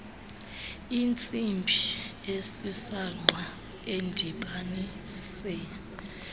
intsimbi esisangqa edibanise